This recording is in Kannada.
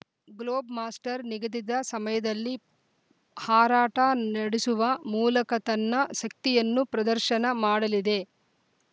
ಗ್ಲೋಬ್‌ ಮಾಸ್ಟರ್‌ ನಿಗದಿದ ಸಮಯದಲ್ಲಿ ಹಾರಾಟ ನಡೆಸುವ ಮೂಲಕ ತನ್ನ ಶಕ್ತಿಯನ್ನು ಪ್ರದರ್ಶನ ಮಾಡಲಿದೆ